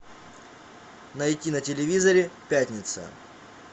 найти на телевизоре пятница